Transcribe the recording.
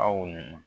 Aw ma